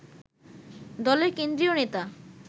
দলের কেন্দ্রীয় নেতা